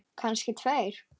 Kannski tveir.